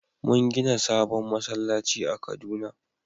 Mun gina sabon masallaci a kaduna